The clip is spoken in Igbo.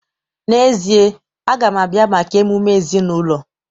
N'ezie, a ga m abịa maka emume ezinụlọ.